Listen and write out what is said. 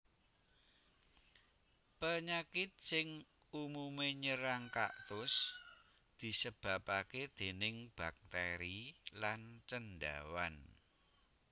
Panyakit sing umumé nyerang kaktus disebabaké déning baktèri lan cendhawan